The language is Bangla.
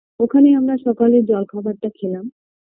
ওখানেই আমারা সকালের জলখাবার টা খেলাম